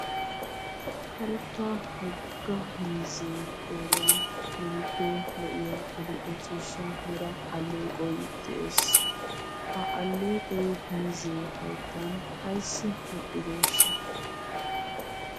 Karetta woggaa miizze qoriyaan keehippe lo"iya adl"e ciishsha mera alleeqoy de'ees. Ha alleqoy miize hayttan ayssi wodhdhideeshsha?